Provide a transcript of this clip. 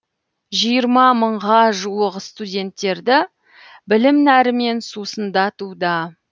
жиырма мыңға жуық студенттерді білім нәрімен сусындатуда